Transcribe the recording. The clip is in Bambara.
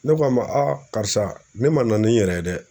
Ne ko a ma karisa ne ma na ni n yɛrɛ ye dɛ.